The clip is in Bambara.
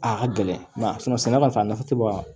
A ka gɛlɛn sɛnɛ ka sa nafa tɛ bɔ a la